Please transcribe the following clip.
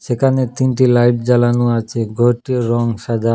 এখানে তিনটি লাইট জ্বালানো আছে ঘরটির রং সাদা।